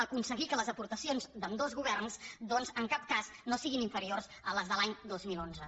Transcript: aconseguir que les aportacions d’ambdós governs doncs en cap cas no siguin inferiors a les de l’any dos mil onze